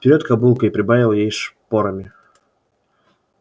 вперёд кобылка и прибавил ей шпорами